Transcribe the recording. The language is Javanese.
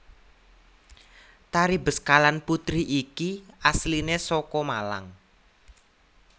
Tari Beskalan Putri iki asliné saka Malang